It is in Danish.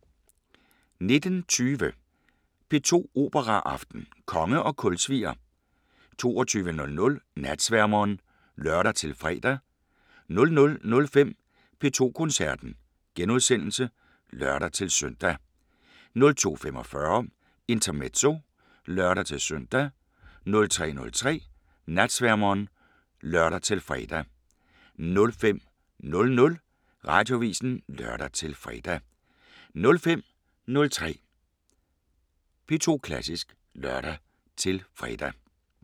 19:20: P2 Operaaften: Konge og kulsvier 22:00: Natsværmeren (lør-fre) 00:05: P2 Koncerten *(lør-søn) 02:45: Intermezzo (lør-søn) 03:03: Natsværmeren (lør-fre) 05:00: Radioavisen (lør-fre) 05:03: P2 Klassisk (lør-fre)